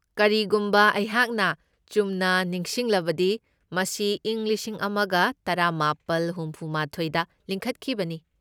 ꯀꯔꯤꯒꯨꯝꯕ ꯑꯩꯍꯥꯛꯅ ꯆꯨꯝꯅ ꯅꯤꯡꯁꯤꯡꯂꯕꯗꯤ ꯃꯁꯤ ꯏꯪ ꯂꯤꯁꯤꯡ ꯑꯃꯒ ꯇꯔꯥꯃꯥꯄꯜ ꯍꯨꯝꯐꯨꯃꯥꯊꯣꯢꯗ ꯂꯤꯡꯈꯠꯈꯤꯕꯅꯤ꯫